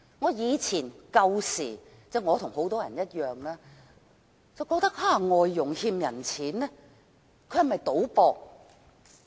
我以前與很多人一樣，覺得外傭欠債，是否因為賭博？